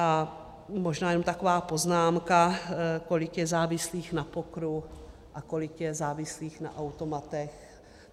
A možná jenom taková poznámka - kolik je závislých na pokeru a kolik je závislých na automatech.